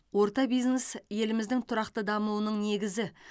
орта бизнес еліміздің тұрақты дамуының негізі